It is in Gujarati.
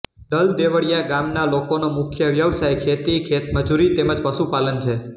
દલદેવળિયા ગામના લોકોનો મુખ્ય વ્યવસાય ખેતી ખેતમજૂરી તેમ જ પશુપાલન છે